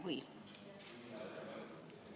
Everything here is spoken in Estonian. Või?